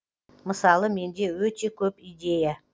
мысалы менде өте көп идея